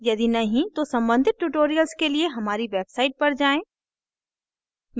यदि नहीं तो सम्बंधित tutorials के लिए हमारी website पर जाएँ